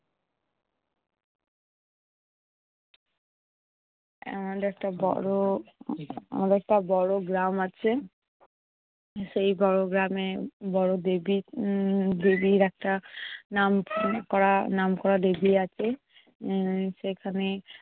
আহ আমাদের একটা বড়~ আমাদের একটা বড় গ্রাম আছে। সেই বড় গ্রামে বড় দেবি উম দেবির একটা নাম করা~ নামকরা দেবি আছে উম সেখানে